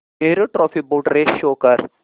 Nehru trophy boat race show कर